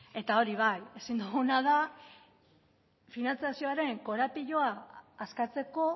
hori bai ezin duguna da finantzazioaren korapiloa askatzeko